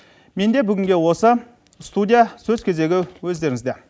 менде бүгінге осы студия сөз кезегі өздеріңізде